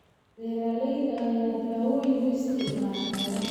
Beeralayda ayaa dawooyin u isticmaala xoolaha.